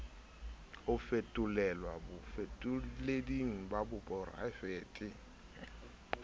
ho fetolelwa bafetoleding ba poraefete